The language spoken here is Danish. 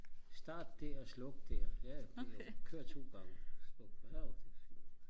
start der sluk der ja det er i orden kør to gange nårh det er fint